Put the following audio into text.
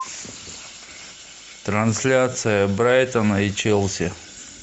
трансляция брайтона и челси